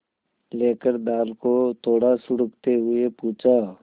लेकर दाल को थोड़ा सुड़कते हुए पूछा